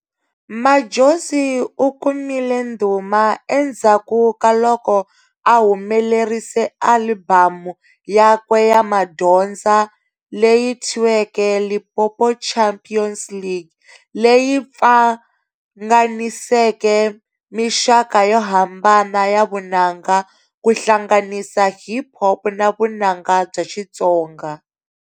Madjozi ukumile ndhuma endzhaku ka loko a humelerise alibhamu yakwe ya madyondza leyi thyiweke"Limpopo Champions League", leyi pfanganiseke mixaka yo hambana ya vunanga ku hlanganisa hip hop na vunanga bya Xitsonga.